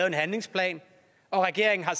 en handlingsplan og regeringen har